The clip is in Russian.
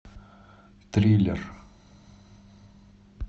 триллер